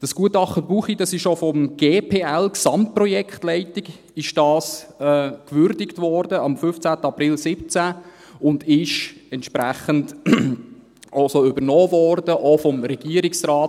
Das Gutachten Buchli wurde am 15. April 2017 auch von der Gesamtprojektleitung (GPL) gewürdigt und wurde entsprechend so übernommen, auch vom Regierungsrat.